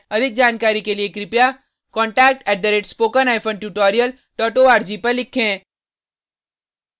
अधिक जानकारी के लिए contact @ spoken hyphen tutorial dot org पर लिखें